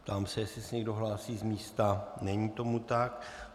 Ptám se, jestli se někdo hlásí z místa, není tomu tak.